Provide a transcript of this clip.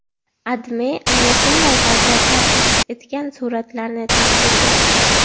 AdMe ana shunday vaziyatlar aks etgan suratlarni taqdim etdi .